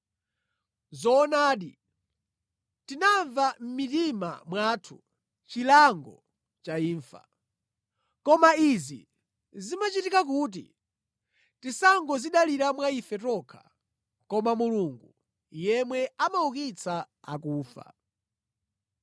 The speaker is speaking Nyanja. Zoonadi, tinamva mʼmitima mwathu chilango cha imfa. Koma izi zimachitika kuti tisangodzidalira mwa ife tokha koma Mulungu yemwe amaukitsa akufa.